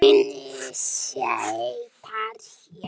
Minni sítar, já